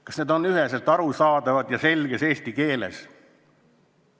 Kas need on üheselt arusaadavad ja selges eesti keeles?